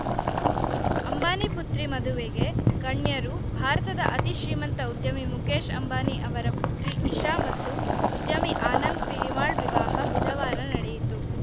ಅಂಬಾನಿ ಪುತ್ರಿ ಮದುವೆಗೆ ಗಣ್ಯರು ಭಾರತದ ಅತಿ ಶ್ರೀಮಂತ ಉದ್ಯಮಿ ಮುಕೇಶ್‌ ಅಂಬಾನಿ ಅವರ ಪುತ್ರಿ ಇಶಾ ಮತ್ತು ಉದ್ಯಮಿ ಆನಂದ ಪಿರಮಾಳ್‌ ವಿವಾಹ ಬುಧವಾರ ನಡೆಯಿತು